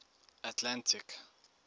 atlantic